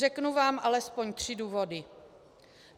Řeknu vám alespoň tři důvody.